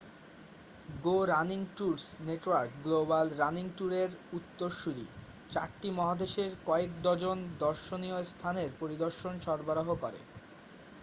গো running tours network global running ট্যুরের উত্তরসূরি চারটি মহাদেশে কয়েক ডজন দর্শনীয়স্থানের পরিদর্শন সরাবরাহ করে